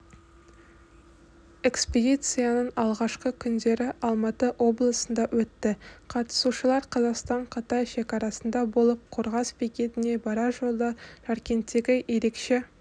экспедицияның алғашқы күндері алматы облысында өтті қатысушылар қазақстанқытай шекарасында болып қорғас бекетіне барар жолда жаркенттегі ерекше